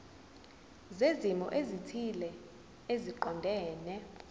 zezimo ezithile eziqondene